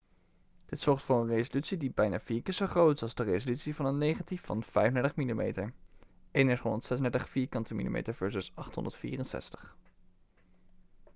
dit zorgt voor een resolutie die bijna vier keer zo groot is als de resolutie van een negatief van 35 mm 3136 mm2 versus 864